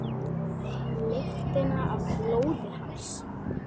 Lyktina af blóði hans.